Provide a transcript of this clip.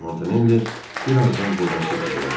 Montanelli bir azdan burdan keçəcəkdi.